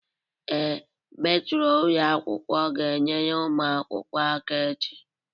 Ee, metro ụlọ akwụkwọ ga-enyere ụmụ akwụkwọ aka echi.